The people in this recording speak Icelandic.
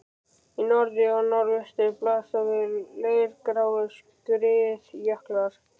Í norðri og norðvestri blasa við leirgráir skriðjöklar.